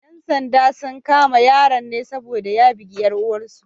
‘Yan sandan sun kama yaron ne saboda ya bugi ‘yar uwar sa.